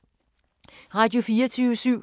Radio24syv